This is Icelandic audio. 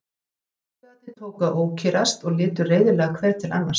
Sjóliðarnir tóku að ókyrrast og litu reiðilega hver til annars.